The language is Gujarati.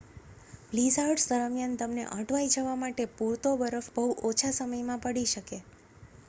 બ્લીઝાર્ડ્સ દરમિયાન તમને અટવાઈ જવા માટે પૂરતો બરફ બહુ ઓછા સમયમાં પડી શકે